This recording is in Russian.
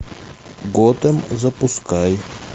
готэм запускай